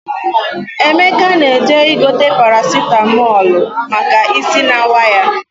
Emeka na-eje igote parasitamọlụ maka isi na-awa ya.